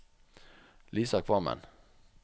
Lisa Kvammen